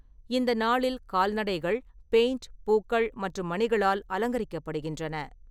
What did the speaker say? இந்த நாளில் கால்நடைகள் பெயிண்ட், பூக்கள் மற்றும் மணிகளால் அலங்கரிக்கப்படுகின்றன.